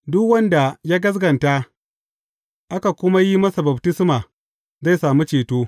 Duk wanda ya gaskata, aka kuma yi masa baftisma, zai sami ceto.